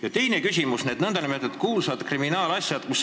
Ja teine küsimus on nn kuulsate kriminaalasjade kohta.